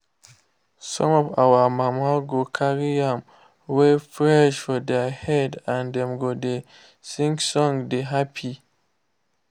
some of our mama go carry yam wey fresh for their head and dem go dey sing song dey happy.